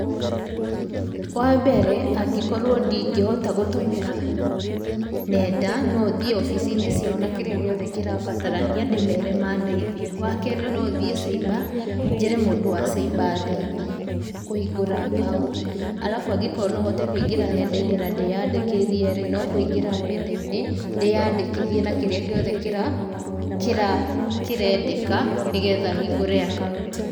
Wa mbere angĩkorwo ndingĩhota gũtũmĩra nenda no thiĩ obici-inĩ ciao na kĩrĩa giothe kĩrabatarania ndĩmere mandeithie. Wakerĩ no thiĩ cyber njĩre mũndũ wa cyber andeithie kũhingũra akaunti. Arabu angĩkorwo no hote kũingĩra nenda~inĩ na ndĩyandĩkithie rĩ, no kũingĩra nenda-inĩ ndĩyandĩkithie na kĩrĩa gĩothe kĩrendeka nĩ getha hĩngũre akaunti.